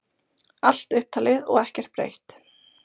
Allt upptalið og ekkert breytt.